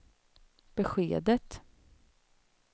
beskedet